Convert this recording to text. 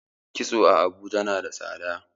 kitso a Abuja nada tsada